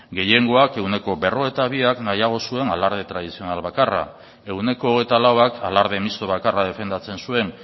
gehiengoak ehuneko berrogeita biak nahiago zuen alarde tradizional bakarra ehuneko hogeita lauak alarde misto bakarra defendatzen zuen